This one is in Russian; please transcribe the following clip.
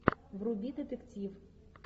вруби детектив